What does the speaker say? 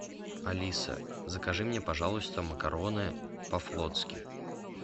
алиса закажи мне пожалуйста макароны по флотски